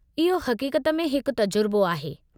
इहो हक़ीक़त में हिकु तजुर्बो आहे।